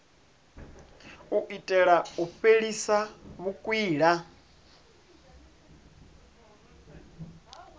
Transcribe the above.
u itela u fhelisa vhukwila